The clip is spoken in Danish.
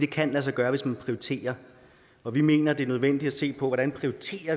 kan lade sig gøre hvis man prioriterer og vi mener det er nødvendigt at se på hvordan